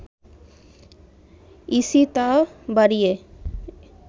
EC তা বাড়িয়ে